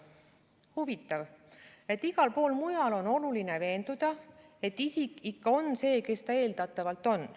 " Huvitav, et igal pool mujal on oluline veenduda, et isik ikka on see, kes ta eeldatavalt on.